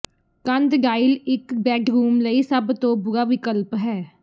ਕੰਧ ਡਾਇਲ ਇਕ ਬੈਡਰੂਮ ਲਈ ਸਭ ਤੋਂ ਬੁਰਾ ਵਿਕਲਪ ਹੈ